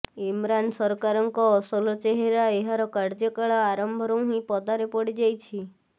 ଇମ୍ରାନ ସରକାରଙ୍କ ଅସଲ ଚେହେରା ଏହାର କାର୍ଯ୍ୟକାଳ ଆରମ୍ଭରୁ ହିଁ ପଦାରେ ପଡ଼ିଯାଇଛି